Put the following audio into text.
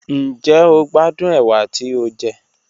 Njẹ o gbadun ewa ti o jẹ?